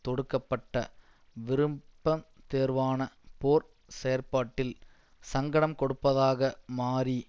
தொடுக்க பட்ட விருப்பம் தேர்வான போர் செயற்பாட்டில் சங்கடம் கொடுப்பதாக மாறி